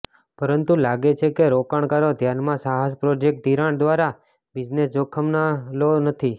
પરંતુ લાગે છે કે રોકાણકારો ધ્યાનમાં સાહસ પ્રોજેક્ટ ધિરાણ દ્વારા બિઝનેસ જોખમ ન લો નથી